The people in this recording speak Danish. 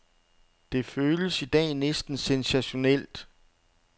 Det føles i dag næsten sensationelt.